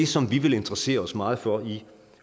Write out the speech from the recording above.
som vi vil interessere os meget for i